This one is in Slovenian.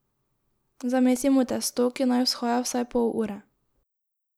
Zamesimo testo, ki naj vzhaja vsaj pol ure.